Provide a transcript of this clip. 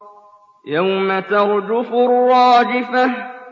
يَوْمَ تَرْجُفُ الرَّاجِفَةُ